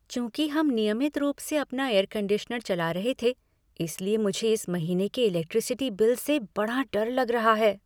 चूंकि हम नियमित रूप से अपना एयर कंडीशनर चला रहे थे, इसलिए मुझे इस महीने के इलेक्ट्रिसिटी बिल से बड़ा डर लग रहा है।